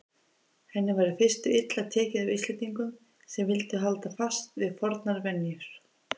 Henni var í fyrstu illa tekið af Íslendingum sem vildu halda fast við fornar venjur.